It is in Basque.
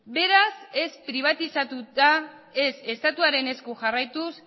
beraz ez pribatizatuta ez estatuaren esku jarraituz